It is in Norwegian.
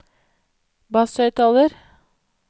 basshøyttaler